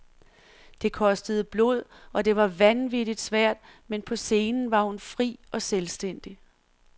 Det kostede blod, og det var vanvittigt svært, men på scenen var hun fri og selvstændig.